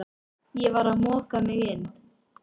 Ég var að moka mig inn